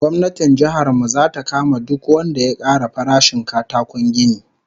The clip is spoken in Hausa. Gwamnatin jihar mu zata kama duk wanda ya ƙara farashin katakon gini